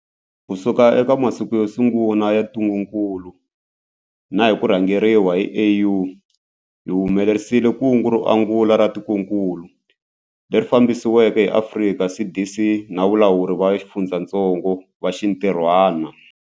Kusuka eka masiku yo sungula ya ntungukulu na hi ku rhangeriwa hi AU, hi humelerisile kungu ro angula ra tikokulu, leri fambisiweke hi Afrika CDC na valawuri va xifundzatsongo va xintirhwana.